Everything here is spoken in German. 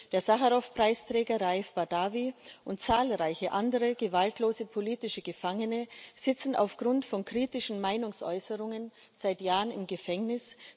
Der Sacharow Preisträger Raif Badawi und zahlreiche andere gewaltlose politische Gefangene sitzen aufgrund von kritischen Meinungsäußerungen seit Jahren im Gefängnis.